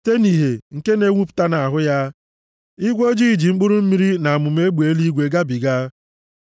Site nʼìhè nke na-enwupụta nʼahụ ya, igwe ojii ji mkpụrụ mmiri na amụma egbe eluigwe gabiga.